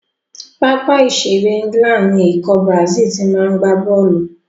Pápá ìṣeré England ni ikọ̀ Brazil ti ma gbá bọ́ọ̀lù.